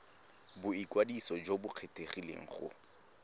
boikwadiso jo bo kgethegileng go